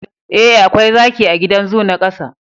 eh akwai zaki a gidan zoo na kasa